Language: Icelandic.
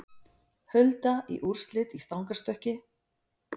Hulda í úrslit í stangarstökki